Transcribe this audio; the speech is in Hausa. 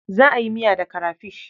Za a yi miya da karafish.